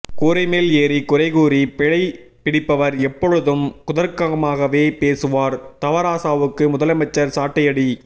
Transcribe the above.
கூரை மேல் ஏறி குறை கூறி பிழை பிடிப்பவர் எப்பொழுதும் குதர்க்கமாகவே பேசுவார் தவராசாவுக்கு முதலமைச்சர் சாட்டையடி